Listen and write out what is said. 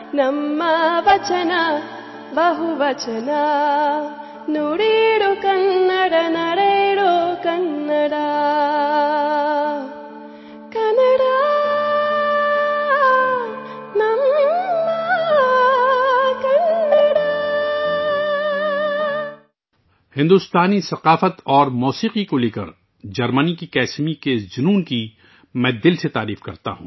میں بھارتی ثقافت اور موسیقی کے لیے جرمنی کی کسمی کے اس جذبے کی دل کی گہرائیوں سے ستائش کرتا ہوں